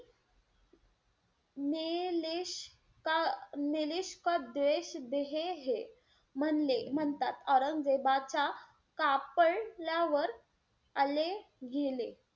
लेश म्हणले म्हणतात. औरंगजेबाच्या कापडल्यावर आले गेले.